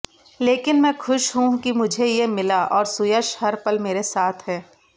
लेकिन मैं खुश हूं कि मुझे ये मिला और सुयश हर पल मेरे साथ है